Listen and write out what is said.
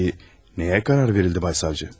Bəs nəyə qərar verildi, cənab prokuror?